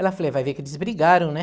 Ela falou, vai ver que eles brigaram, né?